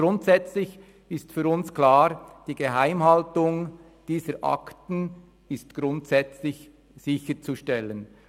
Grundsätzlich ist für uns klar: die Geheimhaltung dieser Akten ist grundsätzlich sicherzustellen.